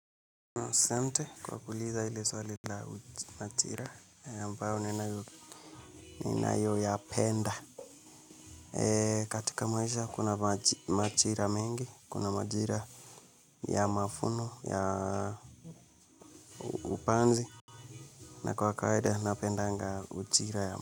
Asante kwa kuuliza hili swali la majira ambao ninayoyapenda. Katika maisha kuna majira mengi, kuna majira ya mavuno, ya upanzi, na kwa kawaida napendanga ujira ya.